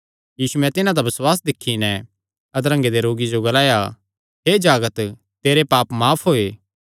यीशुयैं तिन्हां दा बसुआस दिक्खी नैं अधरंगे दे रोगिये जो ग्लाया हे जागत तेरे पाप माफ होये